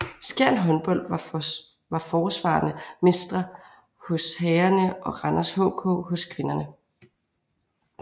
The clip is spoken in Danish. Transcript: Skjern Håndbold var forsvarende mestre hos herrerne og Randers HK hos kvinderne